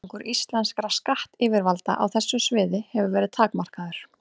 Árangur íslenskra skattyfirvalda á þessu sviði hefur verið takmarkaður.